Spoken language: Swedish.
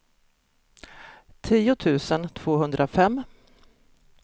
tio tusen tvåhundrafem